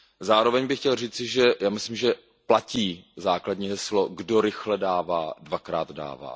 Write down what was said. Zároveň bych chtěl říci, že si myslím, že platí základní heslo, kdo rychle dává, dvakrát dává.